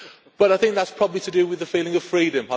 But I think that is probably to do with the feeling of freedom.